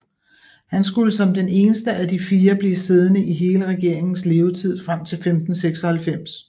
Han skulle som den eneste af de fire blive siddende i hele regeringens levetid frem til 1596